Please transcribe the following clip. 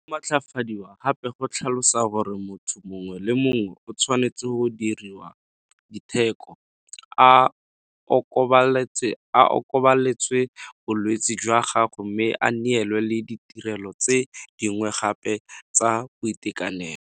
Go matlafadiwa gape go tlhalosa gore motho mongwe le mongwe o tshwanetse go diriwa diteko, a okobaletswe bolwetse jwa gagwe mme a neelwe le ditirelo tse dingwe gape tsa boitekanelo.